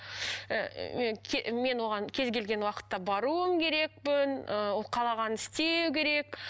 мен оған кез келген уақытта баруым керекпін ыыы ол қалағанын істеу керек